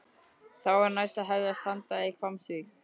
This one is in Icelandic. Þá var næst að hefjast handa í Hvammsvík.